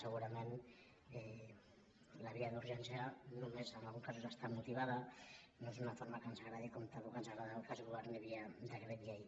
segurament la via d’urgència només en alguns casos està motivada no és una forma que ens agradi com tampoc ens agrada que es governi via decret llei